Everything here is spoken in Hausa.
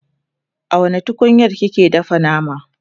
a wani tukunyar kike dafa nama?